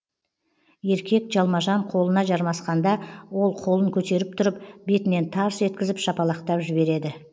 еркек жалма жан қолына жармасқанда ол қолын көтеріп тұрып бетінен тарс еткізіп шапалақтап жібереді